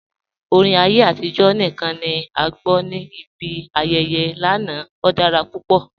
Orin ayé atijọ̀ níkan ni a gbọ́ ni ibi ayẹyẹ́ lánà, ó dára pupọ̀.